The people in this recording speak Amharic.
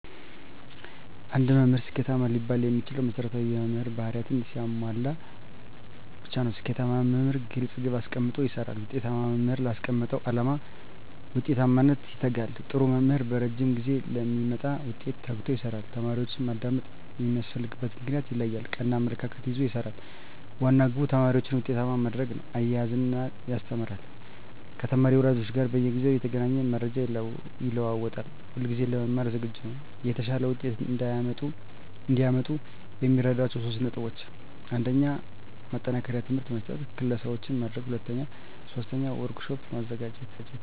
አንድ መምህር ስኬታማ ሊባል የሚችለው መሰረታዊ የመምህር በህሪያትን ሲያሟላ ብቻ ነው። ስኬታማ መምህር ግለፅ ግብ አሰቀምጦ ይሰራል፣ ውጤታማ መምህር ላስቀመጠው ዓላማ ውጤታማነት ይተጋል፣ ጥሩ መምህር በረጂም ጊዜ ለሚመጣ ውጤት ተግቶ ይሰራል፣ ተማሪዎችን ማዳመጥ የሚያስፈልግበትን ምክንያት ይለያል፣ ቀና አመለካከት ይዞ ይሰራል፤ ዋና ግቡ ተማሪዎችን ውጤታማ ማድረግ ነው፤ እያዝናና ያስተምራል፤ ከተማሪ ወላጆች ጋር በየጊዜው እየተገናኘ መረጃ ይለዋወጣል፣ ሁለጊዜ ለመማር ዝግጁ ነው። የተሻለ ውጤት እዲያመጡ የሚረዷቸው 3 ነጥቦች 1. ማጠናከሪያ ትምህርት መስጠት 2. ክለሣዎችን ማድረግ 3. ወርክ ሽት ማዘጋጀት